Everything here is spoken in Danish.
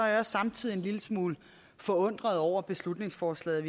jeg samtidig en lille smule forundret over beslutningsforslaget